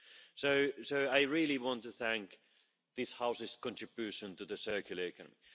So I really want to thank the House for its contribution to the circular economy.